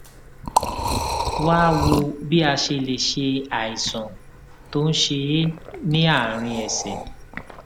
wá a wò bí a ṣe lè ṣe àìsàn tó ń ṣe é ní àárín ẹsè